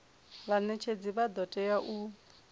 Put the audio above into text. vhanetshedzi vha do tea u